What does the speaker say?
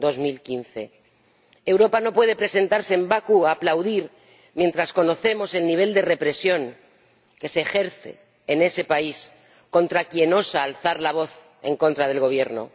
2015. Europa no puede presentarse en Bakú a aplaudir, mientras conocemos el nivel de represión que se ejerce en ese país contra quien osa alzar la voz en contra del Gobierno.